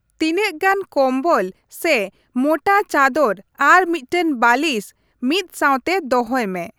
ᱛᱤᱱᱟᱹᱜᱜᱟᱱ ᱠᱚᱢᱵᱚᱞ ᱥᱮ ᱢᱳᱴᱟ ᱪᱟᱫᱚᱨ ᱟᱨ ᱢᱤᱫᱴᱟᱝ ᱵᱟᱞᱤᱥ ᱢᱤᱫ ᱥᱟᱣᱛᱮ ᱫᱚᱦᱚᱭ ᱢᱮ ᱾